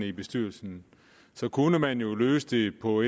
i bestyrelsen kunne man jo løse det på